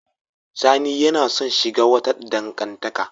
Sani yana son shiga wata dangantaka.